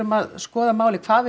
að skoða málið hvað við